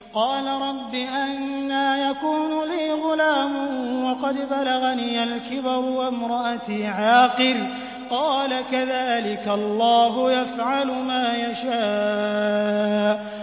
قَالَ رَبِّ أَنَّىٰ يَكُونُ لِي غُلَامٌ وَقَدْ بَلَغَنِيَ الْكِبَرُ وَامْرَأَتِي عَاقِرٌ ۖ قَالَ كَذَٰلِكَ اللَّهُ يَفْعَلُ مَا يَشَاءُ